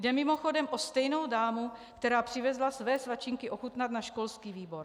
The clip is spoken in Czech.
Jde mimochodem o stejnou dámu, která přivezla své svačinky ochutnat na školský výbor.